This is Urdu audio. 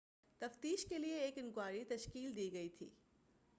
تفتیش کیلئے ایک انکوائری تشکیل دی گئی تھی